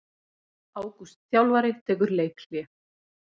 Ágúst þjálfari tekur leikhlé